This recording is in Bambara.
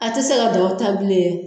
A ti se ka dɔ ta bilen .